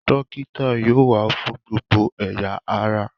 Dókítà yóò wà fún gbogbo ẹ̀ya ará